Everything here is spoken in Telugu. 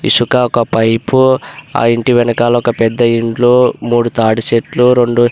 ఇసుక ఒక పైపు ఆ ఇంటి వెనకాల ఒక పెద్ద ఇల్లు మూడు తాటి చెట్లు రెండు --